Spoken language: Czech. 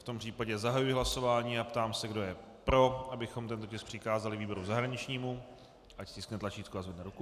V tom případě zahajuji hlasování a ptám se, kdo je pro, abychom tento tisk přikázali výboru zahraničnímu, ať stiskne tlačítko a zvedne ruku.